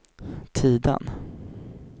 Tidan